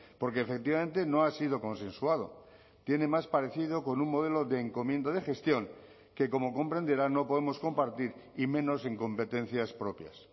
porque efectivamente no ha sido consensuado tiene más parecido con un modelo de encomienda de gestión que como comprenderá no podemos compartir y menos en competencias propias